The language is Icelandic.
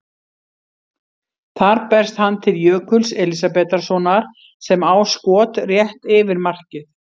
Þar berst hann til Jökuls Elísabetarsonar sem á skot rétt yfir markið.